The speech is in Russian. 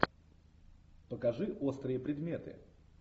покажи острые предметы